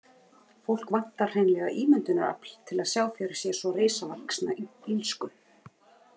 Fólk vantar hreinlega ímyndunarafl til að sjá fyrir sér svo risavaxna illsku.